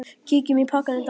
Kíkjum á pakkann í dag.